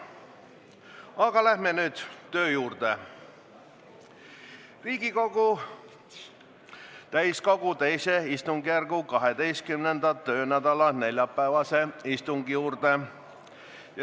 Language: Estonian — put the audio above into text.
Aga asume nüüd tööle ja läheme Riigikogu täiskogu teise istungjärgu 12. töönädala neljapäevase istungi jurde.